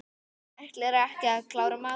Ætlarðu ekki að klára matinn?